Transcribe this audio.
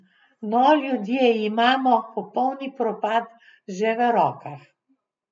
No, ljudje imamo popolni propad že v rokah.